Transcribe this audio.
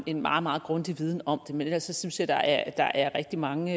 en meget meget grundig viden om det men ellers synes jeg at der er rigtig mange